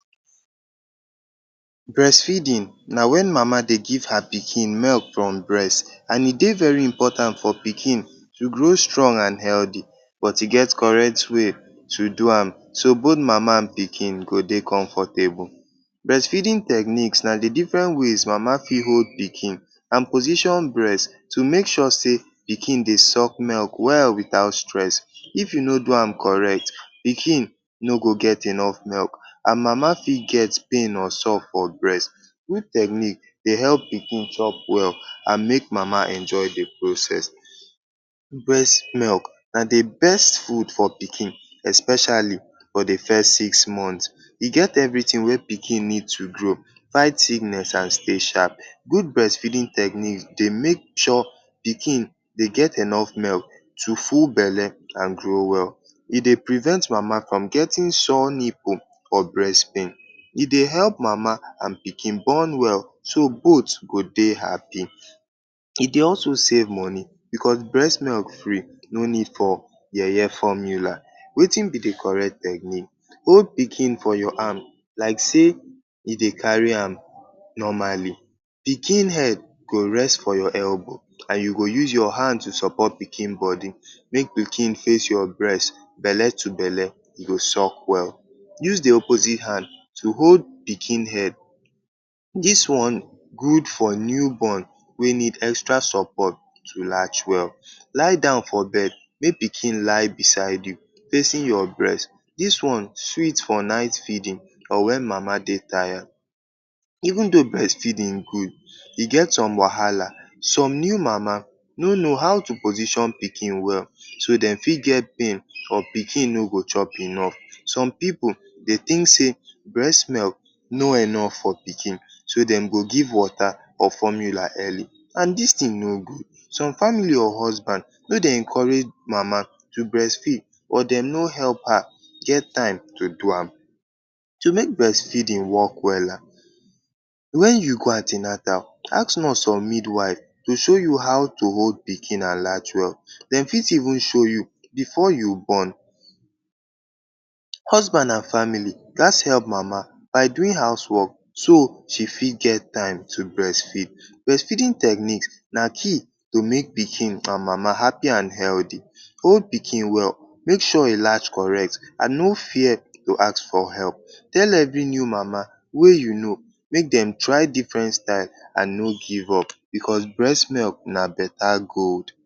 Breastfeeding na wen mama dey give her pikin milk from breast and e dey very important for pikin to grow strong and healthy. But e get correct way to do am so both mama and pikin go dey comfortable. Breastfeeding techniques na di diffren ways mama fit hold pikin and position breast to make sure say pikin dey suck milk well wit out stress. If you no do am correct, pikin no go get enough milk and mama fit get pain or sore for breast. Which technique dey help pikin chop well and make mama enjoy di process? Breast milk na di best food for pikin especially for di first six months. E get evritin wey pikin need to grow, fight sickness and special good breastfeeding techniques dey make sure say pikin dey get enough to full belle and grow well. E dey prevent mama from getting sore nipple or breast pain. E dey help mama and pikin bond well so both go dey happy. E dey also save moni bicos breast milk free no need for yeye formula. Wetin be di correct technique? Hold pikin for your arm like say you dey carry am normally. Pikin head go rest for your elbow and you go use your hand to support pikin body. Make pikin face your breast — belle to belle — e go suck well. Use di opposite hand to hold pikin head. Dis one good for new born wey need extra support to latch well. Lie down for bed make pikin lie beside you, facing your breast. Dis one sweet for night feeding or wen mama dey taya. Even though breastfeeding good, e get some wahala. Some new mama no sabi how to position pikin well so dem fit get pain or pikin no go chop enough. Some pipu dey think say breast milk no enough for pikin so dem go give water or formula early and dis tin no good. Some family or husband no dey encourage mama to breastfeed but dem no help her get time to do am. To make evritin wok wella, wen you go an ten atal ask nurse or midwife to show you how to hold pikin and latch well. Dem fit even show you bifor you born. Husband and family gats help mama by doing house wok so she fit get time to breastfeed. Breastfeeding techniques na key to make pikin and mama happy and healthy. Hold pikin well, make sure e latch correct and no fear to ask for help. Tell evri new mama wey you know make dem try diffren styles and no give up bicos breast milk na betta gold.